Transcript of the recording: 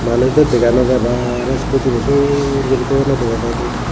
manuj daw dega naw jai bana iskuti ani sur guri toyonne dega jaide.